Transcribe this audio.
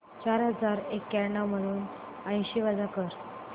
चार हजार एक्याण्णव मधून ऐंशी वजा कर